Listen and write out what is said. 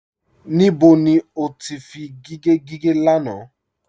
Níbó ni o tì fí gígẹ̀ gígẹ̀ lánà?